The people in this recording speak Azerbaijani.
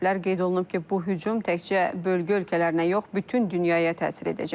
Qeyd olunub ki, bu hücum təkcə bölgə ölkələrinə yox, bütün dünyaya təsir edəcək.